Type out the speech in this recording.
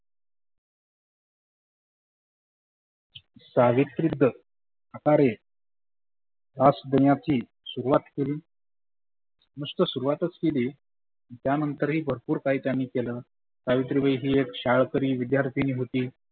सावित्रीच हटारे कास पुण्यातुन सुरुवात केली. नुस्त सुरुवातच केली त्या नंतर ही भरपुर त्यांनी केलं. सावित्रीबाई ही एक शाळकरी विद्यार्थीनी होती.